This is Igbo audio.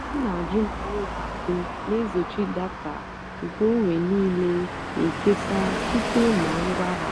ọ́ nà-àjụ́ mà ùlọ àkụ́ nà-èzóchì dátà nkèónwé níìlé ékésárá síte nà ngwá há.